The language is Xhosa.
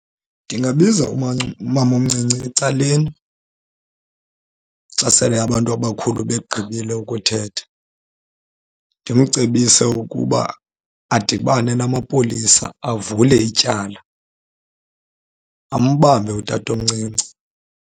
Ndingabiza umamomncinci ecaleni xa sele abantu abakhulu begqibile ukuthetha, ndimcebise ukuba adibane namapolisa avule ityala, ambambe utatomncinci.